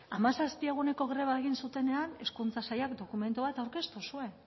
hamazazpi eguneko greba egin zutenean hezkuntza sailak dokumentu bat aurkeztu zuen